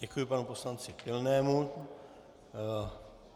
Děkuji panu poslanci Pilnému.